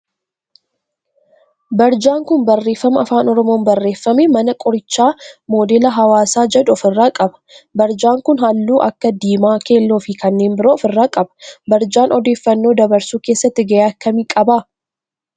Barjaan kun barreeffama afaan oromoon barreeffame mana qorichaa moodela hawaasaa jedhu of irraa qaba. Barjaan kun halluu akka diimaa, keelloo fi kanneen biroo of irraa qaba. Barjaan odeeffannoo dabarsuu keessatti gahee akkamii qaba?